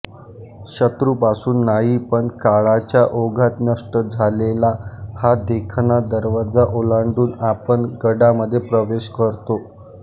शत्रूपासून नाही पण काळाच्या ओघात नष्ट झालेला हा देखणा दरवाजा ओलांडून आपण गडामधे प्रवेश करतो